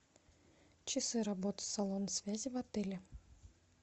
часы работы салона связи в отеле